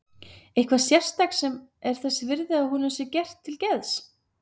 Eitthvað sérstakt sem er þess virði að honum sé gert til geðs.